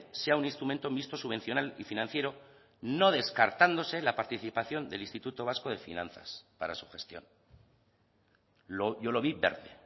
sea un instrumento mixto subvencional y financiero no descartándose la participación del instituto vasco de finanzas para su gestión yo lo vi verde